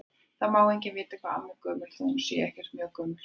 Það má enginn vita hvað amma er gömul þó að hún sé ekkert mjög gömul.